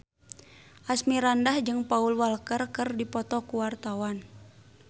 Asmirandah jeung Paul Walker keur dipoto ku wartawan